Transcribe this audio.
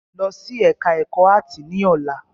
Lọ sí ẹka ẹ̀kọ́ áàtì ní ọ̀la!